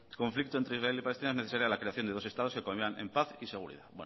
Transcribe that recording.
conflicto entre israel y palestina es necesaria la creación de dos estados que convivan en paz y seguridad